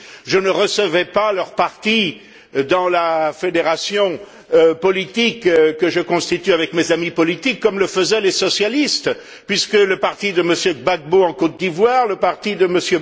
Je ne recevais pas leurs partis dans la fédération politique que je constitue avec mes amis politiques, comme le faisaient les socialistes puisque le parti de M. Gbagbo en Côte d'Ivoire, le parti de